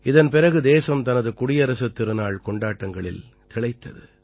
இதன் பிறகு தேசம் தனது குடியரசுத் திருநாள் கொண்டாட்டங்களில் திளைத்தது